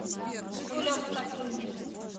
жигулевском